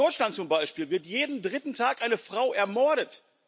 In Deutschland zum Beispiel wird jeden dritten Tag eine Frau ermordet.